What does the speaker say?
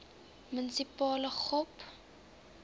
munisipale gop